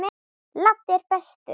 Laddi er bestur.